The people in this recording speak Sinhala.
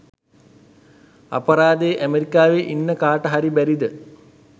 අපරාදෙ ඇමරිකාවෙ ඉන්න කාට හරි බැරිද